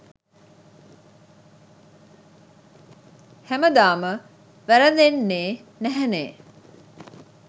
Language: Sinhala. හැමදාම වැරදෙන්නේ නැහැනේ